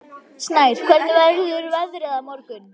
Snær, hvernig verður veðrið á morgun?